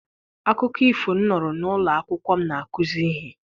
Akụkọ ifo m nụrụ n'ụlọ akwụkwọ m na-akuzi ihe.